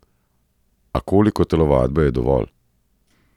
A koliko telovadbe je dovolj?